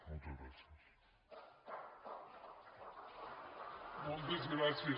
moltes gràcies